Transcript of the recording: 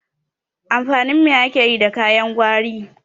Amfanin me ake yi da kayan gwari?